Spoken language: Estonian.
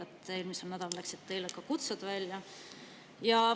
Eelmisel nädalal teile ka kutsed välja.